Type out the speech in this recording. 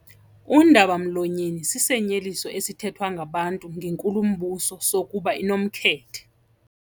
Undaba-mlonyeni sisinyeliso esithethwa ngabantu ngenkulumbuso sokuba inomkhethe.